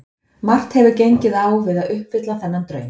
Margt hefur gengið á við að uppfylla þennan draum.